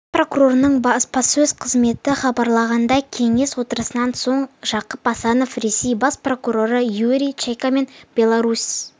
бас прокуратураның баспасөз қызметі хабарлағандай кеңес отырысынан соң жақып асанов ресей бас прокуроры юрий чайкамен беларусь